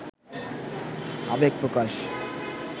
আবেগ প্রকাশ